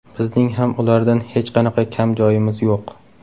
Bizning ham ulardan hech qanaqa kam joyimiz yo‘q.